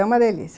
É uma delícia.